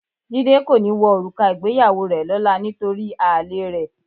Jídé kò ní wọ òrùka ìgbéyàwó rẹ lọ́la nítorí àlèe rẹ̀.